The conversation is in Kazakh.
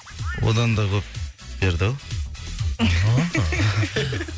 одан да көп берді ау